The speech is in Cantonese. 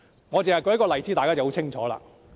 我只要舉一個例子，大家便會很清楚。